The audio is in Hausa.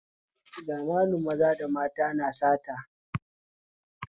Zamanin na maza da mata na sata